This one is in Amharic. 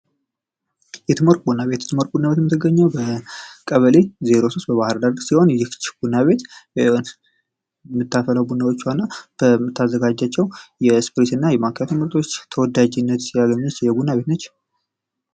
የትምወርቅ ቡና ቤት፡- የትም ወርቅ ቡና ቤት የምትገኘው በቀበሌ 03 በባህር ዳር ሲሆን ቡና ቤቷ በምታፈላው ቡናዎቿ እና በምታዘጋጃቸው ስፕሪስ እና የማኪያቶ ምርቶች ተወዳጅነት ያገኘች የቡና ቤት ነች።